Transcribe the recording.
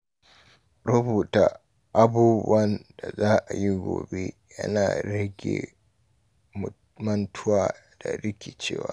Rubuta abubuwan da za a yi gobe yana rage mantuwa da rikicewa.